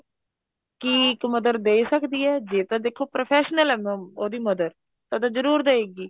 ਕੀ ਇੱਕ mother ਦੇ ਸਕਦੀ ਏ ਜੇ ਤਾਂ ਦੇਖੋ professional ਏ ਉਹਦੀ mother ਤਦ ਜਰੂਰ ਦਏਗੀ